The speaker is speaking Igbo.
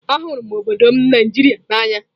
Ahụrụ m obodo m Nigeria n'anya.